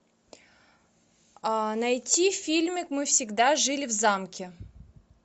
найти фильмик мы всегда жили в замке